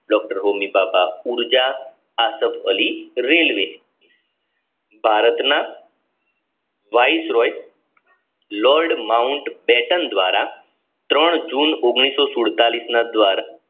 doctor Homi Bhabha ઉર્જા રેલ્વે ભારતના લોર્ડ માઉન્ટ પેટન દ્વારા જૂન ના દ્વારા